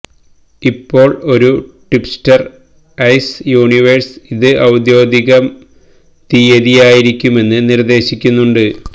ഇപ്പോൾ ഒരു tipster Ice Universe ഇത് ഔദ്യോഗിക തീയതിയായിരിക്കുമെന്ന് നിർദ്ദേശിക്കുന്നുണ്ട്